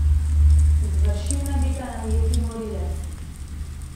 Izvršil naj bi ga najeti morilec.